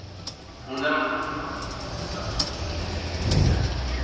Hún er á hans bandi, það leynir sér ekki.